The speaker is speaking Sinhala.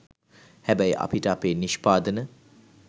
හැබැයි අපිට අපේ නිෂ්පාදන